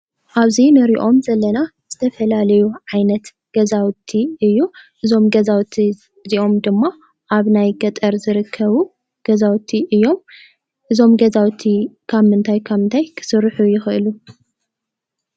ኣብዚ ንሪኦም ዘለና ዝተፈላለዩ ዓይነት ገዛውቲ እዩ፡፡ እዞም ገዛውቲ እዚኦም ድማ ኣብ ናይ ገጠር ዝርከቡ ገዛውቲ እዮም፡፡ እዞም ገዛውቲ ካብ ምንታይ ካብ ምንታይ ክስርሑ ይኽእሉ?